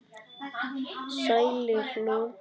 Sælir nú.